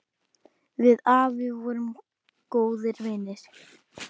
Við afi vorum góðir vinir.